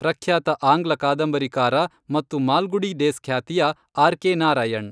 ಪ್ರಖ್ಯಾತ ಆಂಗ್ಲ ಕಾದಂಬರಿಕಾರ ಮತ್ತು ಮಾಲ್ಗುಡಿ ಡೇಸ್ ಖ್ಯಾತಿಯ ಆರ್ ಕೆ ನಾರಾಯಣ್